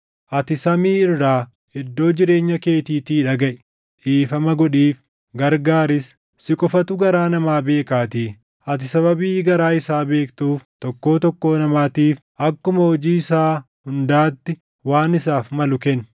ati samii irraa, iddoo jireenya keetiitii dhagaʼi. Dhiifama godhiif; gargaaris. Si qofatu garaa namaa beekaatii, ati sababii garaa isaa beektuuf tokkoo tokkoo namaatiif akkuma hojii isaa hundaatti waan isaaf malu kenni;